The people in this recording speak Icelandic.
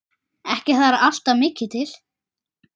Ekki þarf alltaf mikið til.